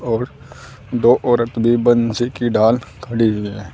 और दो औरत भी बंसी की ढाल खड़ी हुई हैं।